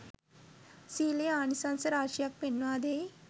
සීලයේ ආනිසංස රාශියක් පෙන්වා දෙයි.